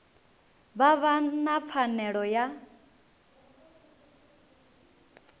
vha vha na pfanelo ya